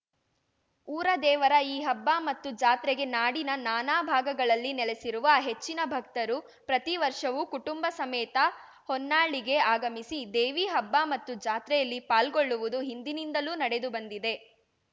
ಊರ ದೇವರ ಈ ಹಬ್ಬ ಮತ್ತು ಜಾತ್ರೆಗೆ ನಾಡಿನ ನಾನಾ ಭಾಗಗಳಲ್ಲಿ ನೆಲೆಸಿರುವ ಹೆಚ್ಚಿನ ಭಕ್ತರು ಪ್ರತಿ ವರ್ಷವೂ ಕುಟುಂಬ ಸಮೇತ ಹೊನ್ನಾಳಿಗೆ ಅಗಮಿಸಿ ದೇವಿ ಹಬ್ಬ ಮತ್ತು ಜಾತ್ರೆಯಲ್ಲಿ ಪಾಲ್ಗೊಳ್ಳುವುದು ಹಿಂದಿನಿಂದಲೂ ನಡೆದು ಬಂದಿದೆ